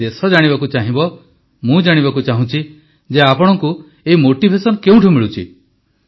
ହେଲେ ଦେଶ ଜାଣିବାକୁ ଚାହିଁବ ମୁଁ ଜାଣିବାକୁ ଚାହୁଁଛି ଯେ ଆପଣଙ୍କୁ ଏହି ମୋଟିଭେସନ୍ କେଉଁଠୁ ମିଳୁଛି